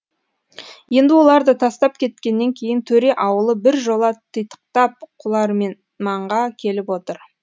енді олар да тастап кеткеннен кейін төре ауылы біржола титықтап құларменманға келіп отыр